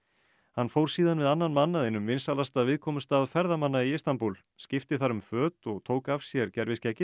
hann fór síðan við annan mann að einum vinsælasta viðkomustað ferðamanna í Istanbúl skipti þar um föt og tók af sér